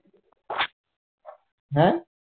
হ্যাঁ